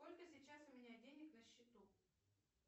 сколько сейчас у меня денег на счету